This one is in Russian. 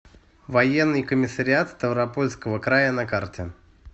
военный комиссариат ставропольского края на карте